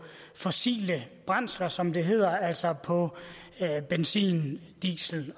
fossile brændstoffer som det hedder altså på benzin diesel